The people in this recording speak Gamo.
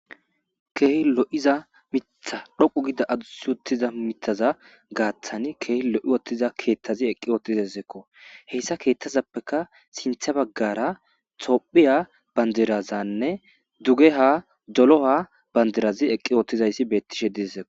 keehi lo7iza mitha dhoqu gida adusutiza mitaza gaaththani keehi lo7i wottiza keethtazi eqqi oottizezekko heyssa keethtazappeka sintha baggara tophiya bandirazanne dugeha dolo7a bandirazi eqqi oottizayssi bettishe dieo